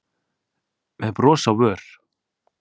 með bros á vör.